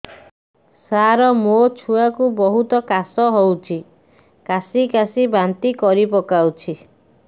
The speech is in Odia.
ସାର ମୋ ଛୁଆ କୁ ବହୁତ କାଶ ହଉଛି କାସି କାସି ବାନ୍ତି କରି ପକାଉଛି